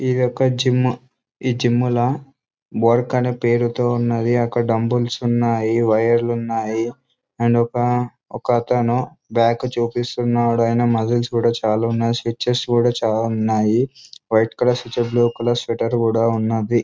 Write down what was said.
ఏది ఒక జిం .ఈ జిం లో వర్క్ అని పెడుతూ ఉన్నది అక్కడ డుంబుల్స్ ఉన్నాయి వీరేష్ ఉన్నాయి.అండ్ ఒక ఒక అతను బ్యాక్ చూపిస్తున్నాడు. అతనికి ముస్కల్స్ కూడా చాల ఉన్నాయ్ . స్ట్రెక్టన్ కూడా చాల ఉన్నాయి. వైట్ కలర్ స్విచ్ర్ బ్లూ కలర్ స్వీటర్ కూడా ఉన్నదీ.